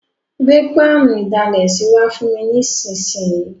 Gbé pánù ìdalẹ̀sí wa fùn mi nísinsìn yi